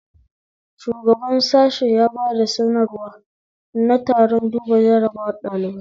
Shugaban sashe ya bada sanarwa na taron duba jarabawar ɗalibai